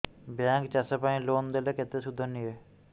bank ଚାଷ ପାଇଁ loan ଦେଲେ କେତେ ସୁଧ ନିଏ